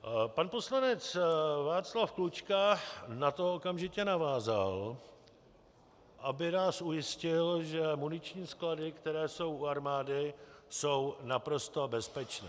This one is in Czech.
Pan poslanec Václav Klučka na to okamžitě navázal, aby nás ujistil, že muniční sklady, které jsou u armády, jsou naprosto bezpečné.